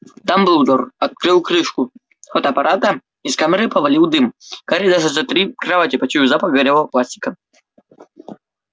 дамблдор открыл крышку фотоаппарата из камеры повалил дым гарри даже за три кровати почуял запах горелого пластика